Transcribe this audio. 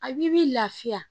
A b'i bi lafiya